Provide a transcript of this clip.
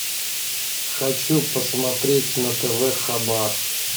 хочу посмотреть на тв хабар